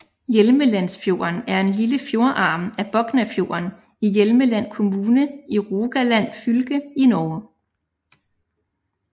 Hjelmelandsfjorden er en lille fjordarm af Boknafjorden i Hjelmeland kommune i Rogaland fylke i Norge